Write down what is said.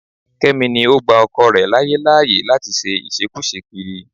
Kẹ́mi ni ó gba ọkọ rẹ̀ láyé láyè láti ṣe ìṣekúṣe kiri